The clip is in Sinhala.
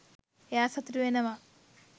එයා සතුටු වෙනවා